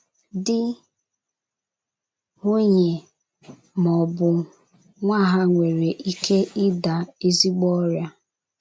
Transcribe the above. Dị, nwunye ma ọ bụ nwa ha nwere ike ịda n'ezigbo ọrịa.